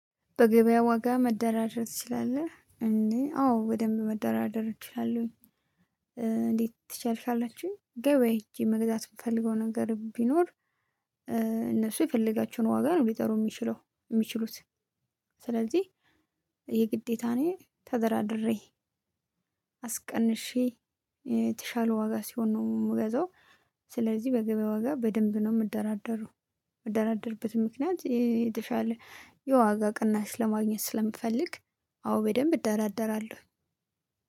በገበያ ዋጋ መደራደር ትችላለህ እንዴ? አዎ ወደምብ መደራደር እችላለሁኝ። እንዴት ትችያለሽ? ካላችሁኝ ገበያ ሂጄ መግዛት የምፈልገው ነገር ቢኖር እነሱ የፈለጋችውን ዋጋ ነው ሊጠሩ የሚችለው የሚችሉት። ስለዚህ የግዴታ እኔ ተደራድሬ አስቀንሼ የተሻለ ዋጋ ሲሆን ነው የምገዛው። ስለዚህ በገበያ ዋጋ በደንብ ነው የምደራደረው። የምደራደርበትም ምክንያት የተሻለ የዋጋ ቅናሽ ለማግኘት ስለምፈልግ። አዎ በደንብ እደራደራለሁ።